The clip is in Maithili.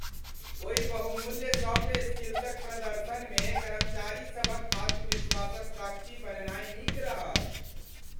ओहि बहुमूल्य सॉफ्ट स्किल्सक प्रदर्शनमे कर्मचारीसभक आत्मविश्वासक साक्षी बननाय नीक रहल।